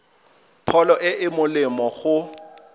pholo e e molemo go